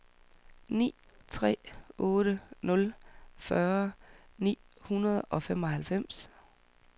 ni tre otte nul fyrre ni hundrede og femoghalvfjerds